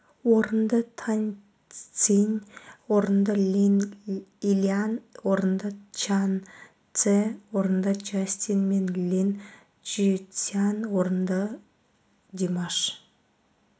орынды тань цзин орынды линь илянь орынды чжан цзе орынды джастин мен линь чжисюань орынды димаш